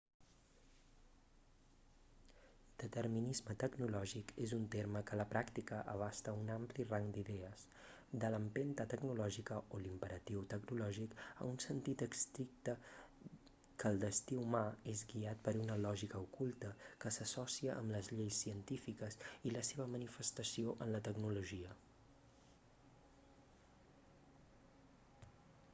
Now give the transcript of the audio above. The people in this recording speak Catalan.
determinisme tecnològic és un terme que a la pràctica abasta un ampli rang d'idees de l'empenta tecnològica o l'imperatiu tecnològic a un sentit estricte que el destí humà és guiat per una lògica oculta que s'associa amb les lleis científiques i la seva manifestació en la tecnologia